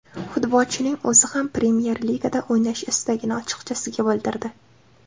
Futbolchining o‘zi ham Premyer Ligada o‘ynash istagini ochiqchasiga bildirdi.